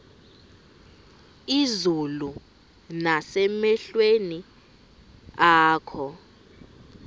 izulu nasemehlweni akho